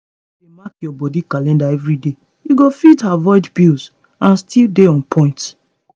if you dey mark your body calendar every day you go fit avoid pills and still dey on point.